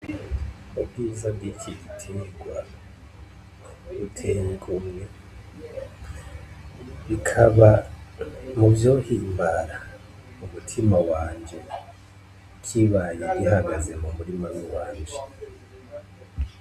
Ubwiza bw'iki gitegwa buteye igomwe, bikaba mu vyohimbara umutima wanje kibaye gihagaze mu murima wi wanje.